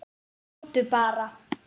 Komdu bara.